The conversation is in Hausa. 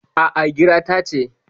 A'a, gireta ce.